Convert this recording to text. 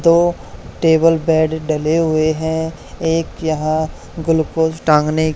दो table bed डले हुए हैं एक यहां ग्लूकोज टांगने--